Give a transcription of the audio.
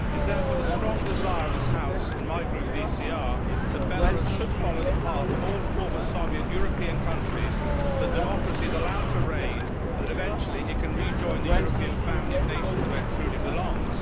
It is therefore the strong desire of this House and my Group, the ECR, that Belarus should follow the path of all former Soviet European countries, that democracy is allowed to reign and that eventually it can rejoin the European family of nations where it truly belongs.